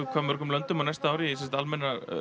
hvað mörgum löndum á næsta ári í sem sagt almennar